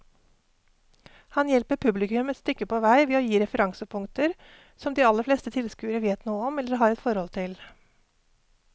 Han hjelper publikum et stykke på vei ved å gi referansepunkter som de aller fleste tilskuere vet noe om eller har et forhold til.